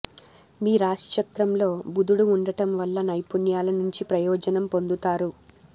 మీ రాశిచక్రంలో బుధుడు ఉండటం వల్ల నైపుణ్యాల నుంచి ప్రయోజనం పొందుతారు